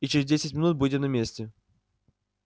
и через десять минут будем на месте